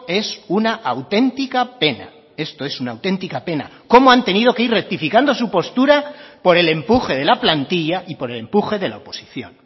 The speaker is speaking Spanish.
es una auténtica pena esto es una auténtica pena cómo han tenido que ir rectificando su postura por el empuje de la plantilla y por el empuje de la oposición